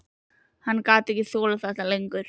Hann gat ekki þolað þetta lengur.